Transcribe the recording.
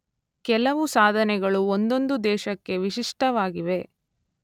ಕೆಲವು ಸಾಧನೆಗಳು ಒಂದೊಂದು ದೇಶಕ್ಕೆ ವಿಶಿಷ್ಟವಾಗಿವೆ.